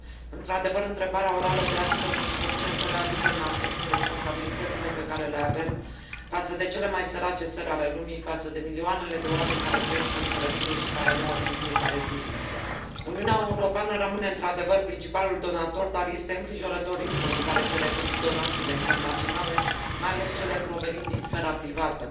Într adevăr, întrebarea orală de astăzi își propune să readucă în atenție responsabilitățile pe care le avem față de cele mai sărace țări ale lumii, față de milioanele de oameni care trăiesc în sărăcie și mor în fiecare zi. Uniunea Europeană rămâne, într adevăr, principalul donator, dar este îngrijorător ritmul în care se reduc donațiile internaționale, mai ales cele provenind din sfera privată.